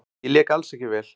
Ég lék alls ekki vel.